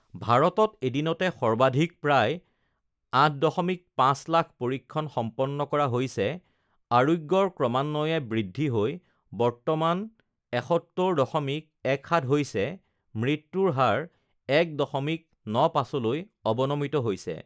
ভাৰতত এদিনতে সৰ্বাধিক প্ৰায় ৮.৫ লাখ পৰীক্ষণ সম্পন্ন কৰা হৈছে আৰোগ্যৰ ক্ৰমান্বয়ে বৃদ্ধি হৈ বৰ্তমানে ৭১.১৭ হৈছে মৃ্ত্যুৰ হাৰ ১.৯৫ লৈ অ্ৱনমিত হৈছে